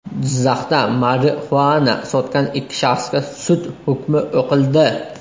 Jizzaxda marixuana sotgan ikki shaxsga sud hukmi o‘qildi.